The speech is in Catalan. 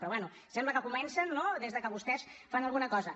però bé sembla que comencen no des que vostès fan alguna cosa